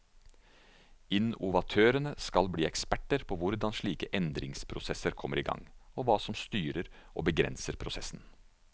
Innovatørene skal bli eksperter på hvordan slike endringsprosesser kommer i gang, og hva som styrer og begrenser prosessen.